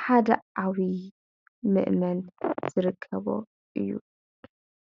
ሓደ ዓብይ ምእመን ዝርከቦ እዩ።